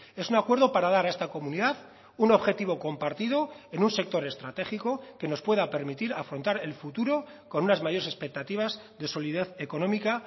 es un acuerdo para dar a esta comunidad un objetivo compartido en un sector estratégico que nos pueda permitir afrontar el futuro con unas mayores expectativas de solidez económica